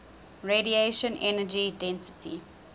radiation energy density